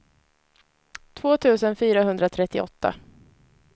två tusen fyrahundratrettioåtta